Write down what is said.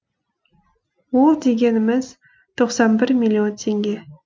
ол дегеніміз тоқсан бір миллион теңге